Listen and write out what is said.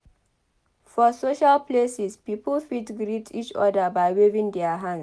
For social places pipo fit greet each other by waving their hands